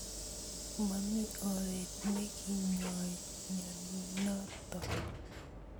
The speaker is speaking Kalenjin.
Momi oret nekinyoi mnyenotok.